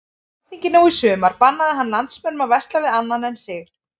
Á alþingi nú í sumar bannaði hann landsmönnum að versla við annan en sig.